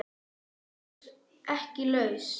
Ertu ekki laus?